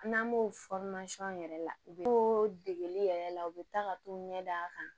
N'an b'o yɛrɛ la u bɛ to degeli yɛrɛ la u bɛ taa ka t'u ɲɛ d'a kan